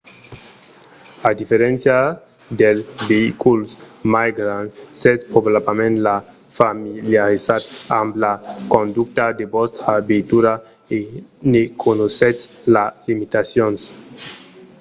a diferéncia dels veïculs mai grands sètz probablament ja familiarizat amb la conducha de vòstra veitura e ne coneissètz las limitacions